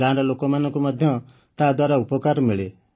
ଗାଁର ଲୋକମାନଙ୍କୁ ମଧ୍ୟ ତାଦ୍ୱାରା ଉପକାର ମିଳେ